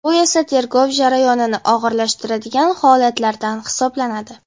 Bu esa tergov jarayonini og‘irlashtiradigan holatlardan hisoblanadi.